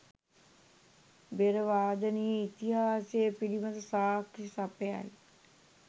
බෙර වාදනයේ ඉතිහාසය පිළිබඳව සාක්කි සපයයි